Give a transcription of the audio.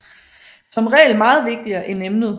Som regel meget vigtigere end emnet